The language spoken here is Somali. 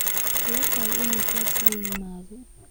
ma kula tahay inuu taas la yimaado?